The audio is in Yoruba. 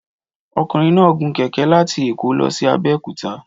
Ọkùnrin náà gun kẹ̀kẹ́ láti Èkó lọ sí Abẹ́òkúta.